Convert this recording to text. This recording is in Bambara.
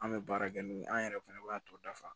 An bɛ baara kɛ n'o ye an yɛrɛ fɛnɛ b'a tɔ dafa